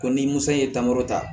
Ko ni musa ye tangɔrɔ ta